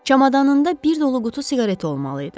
Çamadanında bir dolu qutu siqareti olmalı idi.